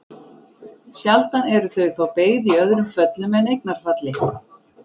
Sjaldan eru þau þó beygð í öðrum föllum en eignarfalli.